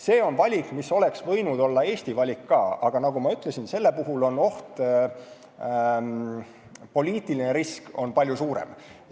See on valik, mis oleks võinud olla ka Eesti valik, aga nagu ma ütlesin, selle puhul on poliitiline risk palju suurem.